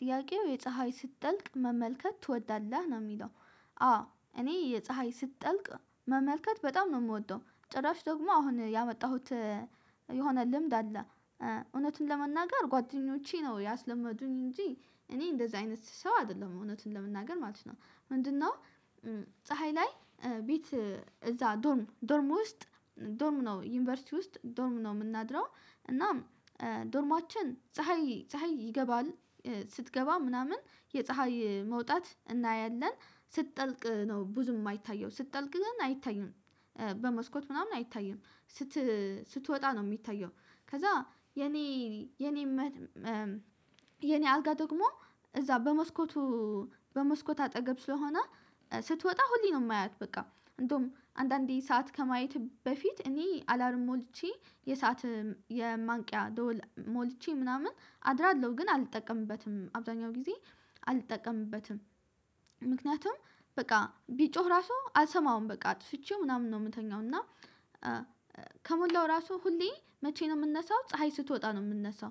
ጥያቄው የፀሀይ ስትጠልቅ መመልከት ትወዳለህ ነው የሚለው አዎ እኔ የፀሀይ ስትጠልቅ መመልከት በጣም ነው የምወደው ጭራሽ ደግሞ አሁን ያመጣሁት የሆነ ልምድ አለ እውነትን ለመናገር ጓደኞቼ ነው ያስለመዱኝ እንጂ እኔ እንደዚህ አይነት ሰው አይደለም እውነቱን ለመናገር ማለት ነው ምንድነው ፀሀይ ላይ ቤት እዛ ዶርም ዶርም ውስጥ ዶርም ነው ዩኒቨርሲቲ ውስጥ ዶርም ነው የምናድረው እና ዶርማችን ፀሀይ ፀሀይ ይገባል ስትገባ ምናምን የፀሀይ መውጣት እናያለን ስትጠልቅ ነው ብዙ የማይታየው ስትጠልቅ ግን አይታየውም በመስኮት ምናምን አይታይም ስት ስትወጣ ነው የሚታየው ከዛ የኔ የኔ የኔ አልጋ ደግሞ እዛ በመስኮቱ በመስኮት አጠገብ ስለሆነ ስትወጣ ሁሌ ነው የማያት በቃ እንደውም አንዳንዴ ሰዓት ከማየት በፊት እኔ አላርም ሞልቼ የሰዓት የማንቂያ ደወል ሞልቼ ምናምን አድራለሁ ግን አልጠቀምበትም አብዛኛው ጊዜ አልጠቀምበትም ምክንያቱም በቃ ቢጮህ ራሱ አልሰማውም በቃ አትፍቼው ምናምን ነው የምተኛው እና ከሞላው ራሱ ሁሌ መቼ ነው የምነሳው ፀሀይ ስትወጣ ነው የምንነሳው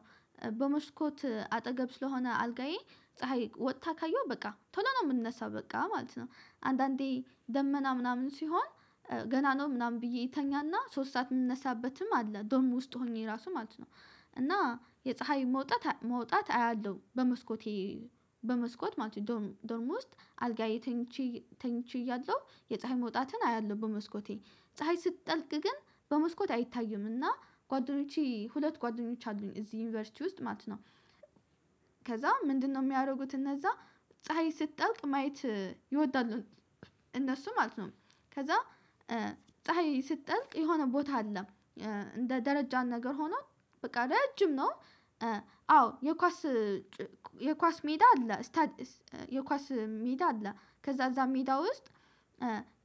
በመስኮት አጠገብ ስለሆነ አልጋዬ ፀሀይ ወጥታ ካየሁ በቃ ቶሎ ነው የምንነሳው በቃ ማለት ነው አንዳንዴ ደመና ምናምን ሲሆን ገና ነው ምናምን ብዬ ተኛና ሶስት ሰዓት የምነሳበትም አለ ዶም ውስጥ ሆኜ ራሱ ማለት ነው እና የፀሀይ መውጣት መውጣት አያለሁ በመስኮቴ በመስኮት ማለት ነው ዶርሞስት አልጋዬ ተኝቼ ተኝቼ እያለሁ የፀሀይ መውጣትን አያለሁ በመስኮቴ ፀሀይ ስትጠልቅ ግን በመስኮት አይታይምና ጓደኞቼ ሁለት ጓደኞች አሉኝ እዚህ ዩኒቨርሲቲ ውስጥ ማለት ነው። ከዛ ምንድነው የሚያደርጉት እነዛ ፀሀይ ስትጠልቅ ማየት ይወዳሉ እነሱ ማለት ነው ከዛ ፀሀይ ስትጠልቅ የሆነ ቦታ አለ እንደ ደረጃን ነገር ሆኖ በቃ ረጅም ነው አዎ የኳስ የኳስ ሜዳ አለ የኳስ ሜዳ አለ ከዛ እዛ ሜዳ ውስጥ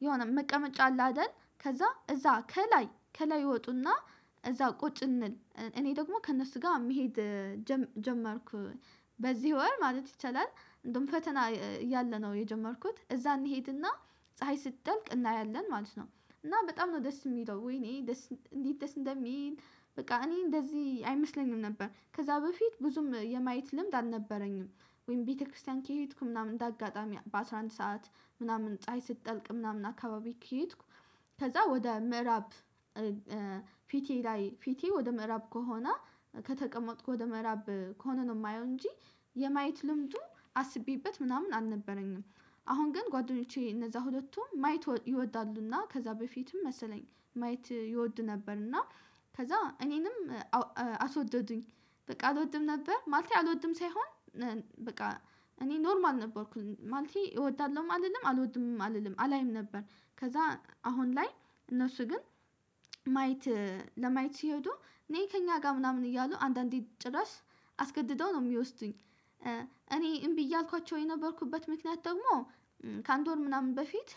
የሆነ መቀመጫ አለ አይደል ከዛ እዛ ከላይ ከላይ ይወጡና እዛ ቁጭ እንል እኔ ደግሞ ከእነሱ ጋር መሄድ ጀመርኩ በዚህ ወር ማለት ይቻላል እንደውም ፈተና እያለነው የጀመርኩት እዛ እንሄድና ፀሀይ ስትጠልቅ እናያለን ማለት ነው እና በጣም ነው ደስ የሚለው ወይኔ ደስ እንዲህ ደስ እንደሚል በቃ እኔ እንደዚህ አይመስለኝም ነበር ከዛ በፊት ብዙም የማየት ልምድ አልነበረኝም ወይም ቤተክርስቲያን ከሄድኩ ምናምን እንደ አጋጣሚ በ አስራ አንድ ሰዓት ምናምን ፀሀይ ስትጠልቅ ምናምን አካባቢ ከሄድኩ ከዛ ወደ ምዕራብ ፊቴ ላይ ፊቴ ወደ ምዕራብ ከሆነ ከተቀመጥኩ ወደ ምዕራብ ከሆነ ነው የማየው እንጂ የማየት ልምዱ አስቤበት ምናምን አልነበረኝም አሁን ግን ጓደኞቼ እነዛ ሁለቱም ማየት ይወዳሉና ከዛ በፊትም መሰለኝ ማየት ይወዱ ነበር እና ከዛ እኔንም አስወደዱኝ በቃ አልወድም ነበር ማለት አልወድም ሳይሆን በቃ እኔ ኖርማል ነበርኩኝ ማለቴ እወዳለሁም አልልም አልወድምም አልልም አላይም ነበር ከዛ አሁን ላይ እነሱ ግን ማየት ለማየት ሲሄዱ ነይ ከኛ ጋር ምናምን እያሉ አንዳንዴ ጭራሽ አስገድደው ነው የሚወስዱኝ እኔ እምቢ እያልኳቸው የነበርኩበት ምክንያት ደግሞ ከ አንድ ወር ምናምን በፊት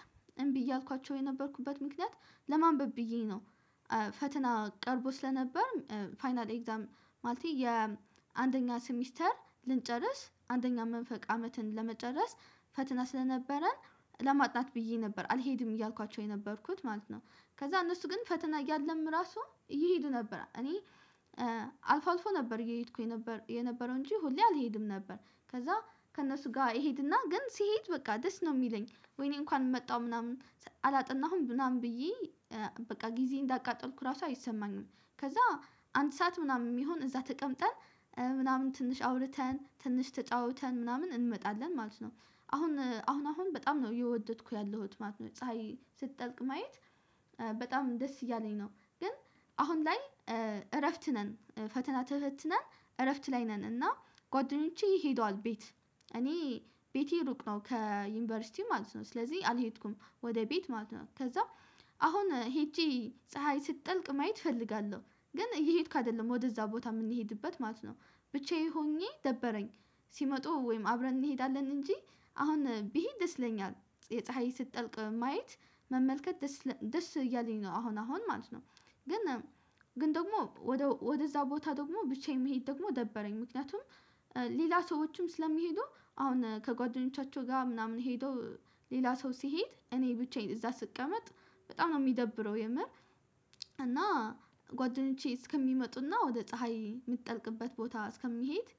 እምቢ እያልኳቸው የነበርኩበት ምክንያት ለማንበብ ብዬ ነው ፈተና ቀርቦ ስለነበር ፋይናል ኤግዛም ማለቴ የአንደኛ ሰሚስተር ልንጨርስ አንደኛ መንፈቅ አመትን ለመጨረስ ፈትና ስለነበረን ለማጥናት ብዬ ነበር አልሄድም እያልኳቸው የነበርኩት ማለት ነው ከዛ እነሱ ግን ፈተና እያለም ራሱ እየሄዱ ነበር እኔ አልፎ አልፎ ነበር እየሄድኩኝ የነበረው እንጂ ሁሌ አልሄድም ነበር ከዛ ከእነሱ ጋር እሄድና ግን ሲሄድ በቃ ደስ ነው የሚለኝ ወይኔ እንኳን መጣው ምናምን አላጥናሁም ምናምን ብዬ በቃ ጊዜ እንዳቃጠልኩ ራሱ አይሰማኝም ከዛ አንድ ሰዓት ምናምን የሚሆን እዛ ተቀምጠን ምናምን ትንሽ አውርተን ትንሽ ተጫውተን ምናምን እንመጣለን ማለት ነው አሁን አሁን አሁን በጣም ነው የወደድኩት ያለሁት ማለት ነው ፀሀይ ስትጠልቅ ማየት በጣም ደስ እያለኝ ነው ግን አሁን ላይ እረፍት ነን ፈተና ተፈትነን እረፍት ላይ ነን እና ጓደኞቼ ሄደዋል ቤት እኔ ቤቴ እሩቅ ነው ከዩኒቨርሲቲ ማለት ነው ስለዚህ አልሄድኩም ወደ ቤት ማለት ነው ከዛ አሁን ሄጄ ፀሀይ ስትጠልቅ ማየት እፈልጋለሁ ግን እየሄድኩ አይደለም ወደዛ ቦታ የምንሄድበት ማለት ነው ብቻዬ ሆኜ ደበረኝ ሲመጡ ወይም አብረን እንሄዳለን እንጂ አሁን ብሄድ ደስ ይለኛል ይሄ ፀሀይ ስትጠልቅ ማየት መመልከት ደስ እያለኝ ነው አሁን አሁን ማለት ነው ግን ግን ደግሞ ወደ ወደዛ ቦታ ደግሞ ብቻዬን መሄድ ደግሞ ደበረኝ ምክንያቱም ሌላ ሰዎችም ስለሚሄዱ አሁን ከጓደኞቻቸው ጋር ምናምን ሄደው ሌላ ሰው ሲሄድ እኔ ብቻዬን እዛ ስቀመጥ በጣም ነው የሚደብረው የምር እና ጓደኞቼ እስከሚመጡና ወደ ፀሀይ የምትጠልቅበት ቦታ እስከሚሄድ